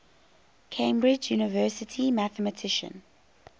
cambridge university mathematician